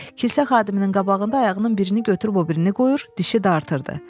Kilsə xadiminin qabağında ayağının birini götürüb o birini qoyur, dişi dartırdı.